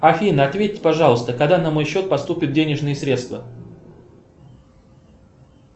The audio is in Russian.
афина ответь пожалуйста когда на мой счет поступят денежные средства